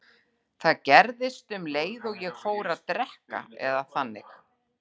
Það gerðist um leið og ég fór að drekka, eða þannig.